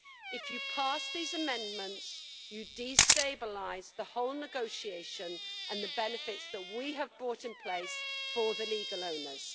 If you pass these amendments, you destabilise the whole negotiation and the benefits that we have brought in place for the legal owners.